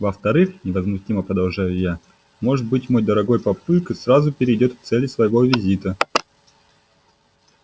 во-вторых невозмутимо продолжаю я может быть мой дорогой папулька сразу перейдёт к цели своего визита